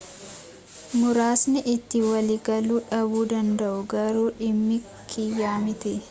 muraasni itti waliigaluu dhabuu danda'u garuu dhimmi kiyyaa miti